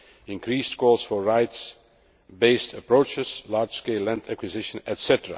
increased calls for rights based approaches, large scale land acquisition, etc.